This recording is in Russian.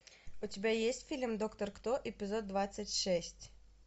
у тебя есть фильм доктор кто эпизод двадцать шесть